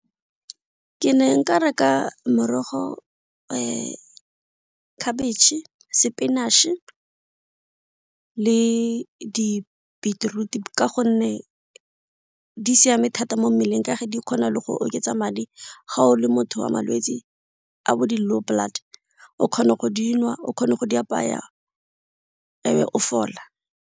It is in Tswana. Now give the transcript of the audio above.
Ke ne nka reka morogo khabetšhe, spinach-e le di-beetroot ka gonne di siame thata mo mmeleng ka ge di kgona le go oketsa madi ga o le motho a malwetsi a bo di-low blood, o kgona go dinwa, o kgona go di apaya ebe o fola.